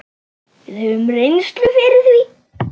Við höfum reynslu fyrir því.